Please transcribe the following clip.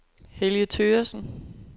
Helge Thøgersen